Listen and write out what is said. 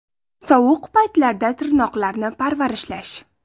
Sovuq paytlarda tirnoqlarni parvarishlash.